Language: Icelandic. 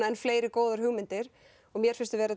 enn fleiri góðar hugmyndir mér finnst við vera